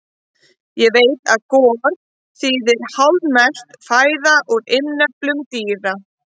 Ég veit að gor þýðir hálfmelt fæða úr innyflum dýra.